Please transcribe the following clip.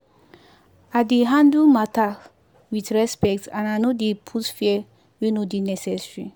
i dey handle matter with respect and i no dey put fear wey no dey necessary.